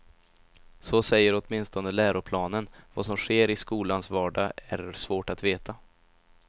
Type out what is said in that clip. Så säger åtminstone läroplanen, vad som sker i skolans vardag är svårt att veta.